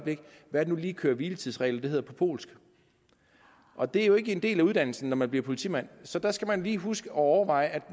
hvad nu lige køre hvile tids regler hedder på polsk og det er jo ikke en del af uddannelsen når man bliver politimand så der skal man lige huske at overveje at